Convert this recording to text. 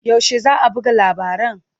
Yaushe za a buga labaran?